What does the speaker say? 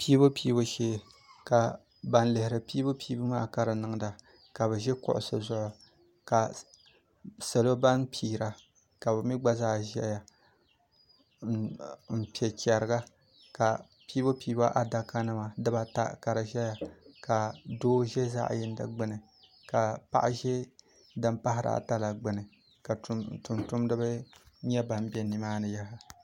pɛbupɛbu shɛɛ ka ban lihiri pɛbupɛbu maa ka be pɛiri ka be ʒɛ kuɣisi zuɣ ka salo ban pɛri ka migba zaa ʒɛya n pɛ chɛriga ka pɛbupɛbu adakanima di baata ka di ʒɛya ka do ʒɛ zaɣ yinidi gbani ka paɣ' ʒɛ di pahiri ata la gbani ka tumtumdiba bɛ ni maani